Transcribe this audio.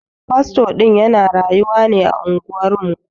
Fasto din ya na rayuwa ne a unguwar mu.